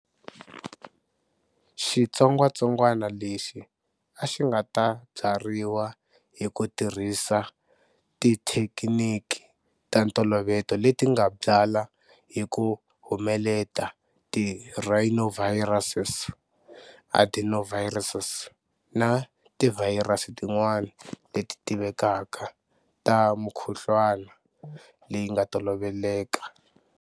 Xitsongwatsongwana lexi a xi nga ta byariwa hi ku tirhisa tithekiniki ta ntolovelo leti nga byala hi ku humelela ti rhinoviruses, adenoviruses na tivhayirasi tin'wana leti tivekaka ta mikhuhlwana leyi nga toloveleka.